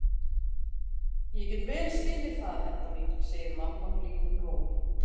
Ég get vel skilið það, Edda mín, segir mamma blíðum rómi.